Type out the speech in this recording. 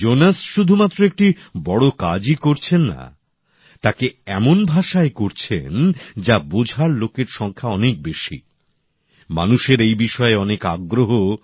Jones শুধুমাত্র একটি বড় কাজই করছেন না তাকে এমন ভাষায় করছেন যাতে অনেক বেশি লোকের বুঝতে সুবিধে হয়